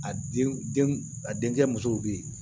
A den den a denkɛ musow bɛ yen